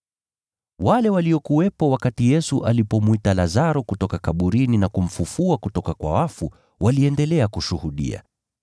Wale waliokuwepo wakati Yesu alipomwita Lazaro kutoka kaburini na kumfufua kutoka kwa wafu, waliendelea kushuhudia.